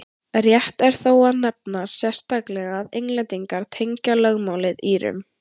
rétt er þó að nefna sérstaklega að englendingar tengja lögmálið írum